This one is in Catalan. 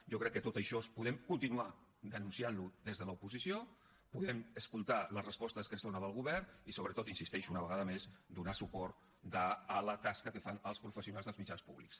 jo crec que tot això podem continuar denunciant ho des de l’oposició podem escoltar les respostes que es donen del govern i sobretot hi insisteixo una vegada més donar suport a la tasca que fan els professionals dels mitjans públics